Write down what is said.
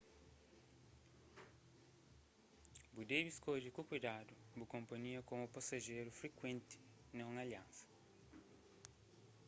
bu debe skodje ku kuidadu bu konpanhia komu pasajeru frikuenti na un aliansa